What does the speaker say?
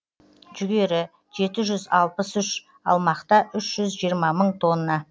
жүгері жеті жүз алпыс үш ал мақта үш жүз жиырма мың тонна